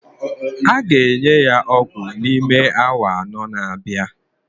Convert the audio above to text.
A ga-enye ya ọgwụ n'ime awa anọ na-abịa